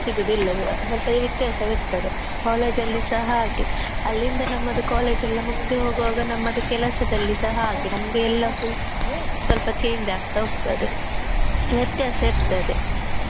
ಸಿಗುವುದಿಲ್ಲ ಸ್ವಲ ವ್ಯತ್ಯಾಸವಿರ್ತದೆ college ಅಲ್ಲಿ ಸಹ ಹಾಗೆ ಅಲ್ಲಿಂದ ನಮ್ಮದು college ಎಲ್ಲಾ ಮುಗ್ದು ಹೋಗುವಾಗ ನಮ್ಮದು ಕೆಲಸದಲ್ಲಿಸ ಹಾಗೆ ನಮ್ಗೆ ಎಲ್ಲಾ full ಸ್ವಲ್ಪ change ಆಗ್ತಾ ಹೋಗ್ತದೆ ವ್ಯತ್ಯಾಸ ಇರ್ತದೆ.